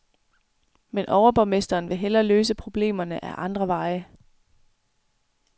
Men overborgmesteren vil hellere løse problemerne ad andre veje.